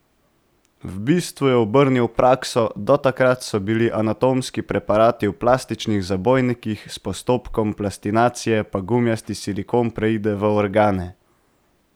V bistvu je obrnil prakso, do takrat so bili anatomski preparati v plastičnih zabojnikih, s postopkom plastinacije pa gumijast silikon preide v organe.